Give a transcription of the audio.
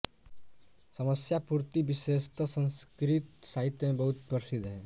समस्यापूर्ति विशेषतः संस्कृत साहित्य में बहुत प्रसिद्ध है